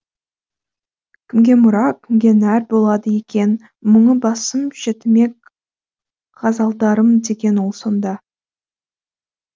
кімге мұра кіге нәр болады екен мұңы басым жетімек ғазалдарым деген ол сонда